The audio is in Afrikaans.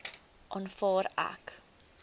aanvaar ek